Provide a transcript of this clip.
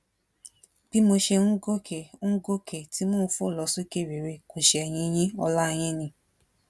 bí mo ṣe ń gòkè ń gòkè tí mò ń fò lọ sókè réré kò ṣẹyìn yin ọlá yín ni